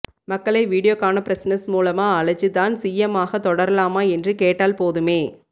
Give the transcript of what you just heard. மக்களை வீடியோகானபிரெஸ்னஸ் மூலமா அழைச்சு தான் சி எம் ஆஹா தொடரலாமா என்றுகேட்டால்போதுமே